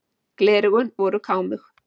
Gleraugun voru kámug.